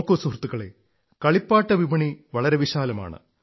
നോക്കു സുഹൃത്തുക്കളേ കളിപ്പാട്ട വിപണി വളരെ വിശാലമാണ്